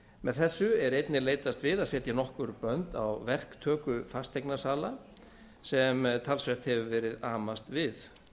með þessu er einnig leitast við að setja nokkur bönd á verktöku fasteignasala sem talsvert hefur verið amast við